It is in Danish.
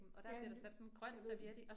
Ja, jeg ved det